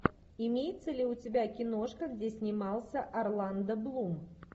имеется ли у тебя киношка где снимался орландо блум